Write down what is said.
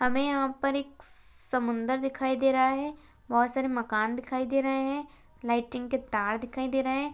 यहाँ पर एक श समुद्रर दिखाई दे रहा है। बहोत सारे मकान दिखाई दे रहे है। लाइटिंग के तार दिखाई दे रहे है।